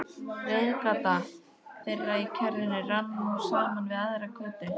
Reiðgata þeirra í kjarrinu rann nú saman við aðra götu.